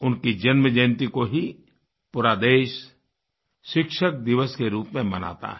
उनकी जन्म जयन्ती को ही पूरा देश शिक्षक दिवस के रूप में मनाता है